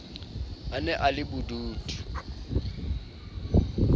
a ne a le bodutu